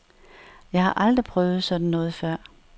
Jeg har aldrig prøvet sådan noget før.